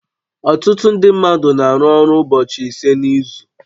Ọtụtụ ndị mmadụ na-arụ ọrụ ụbọchị ise n'izu